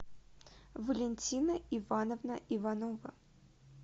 валентина ивановна иванова